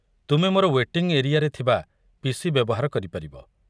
ତୁମେ ମୋର ୱେଟିଙ୍ଗ୍ ଏରିଆରେ ଥିବା ପି.ସି. ବ୍ୟବହାର କରିପାରିବ।